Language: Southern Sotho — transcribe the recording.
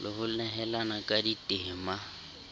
le ho nehelana ka ditema